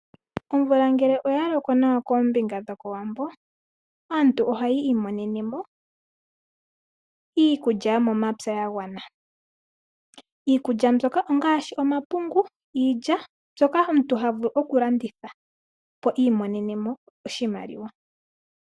Omvula ngele oyaloko loko nawa koombinga dhokOwambo, aantu ohayi imonenemo iikulya yomepya yagwana . Iikulya mbyoka ongaashi omapungu, iilya . Mbyoka omuntu havulu okulanditha opo imonenemo oshimaliwa.